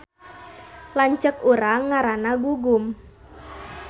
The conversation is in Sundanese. Lanceuk urang ngaranna Gugum